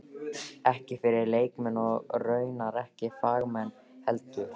Ekki fyrir leikmenn- og raunar ekki fagmenn heldur.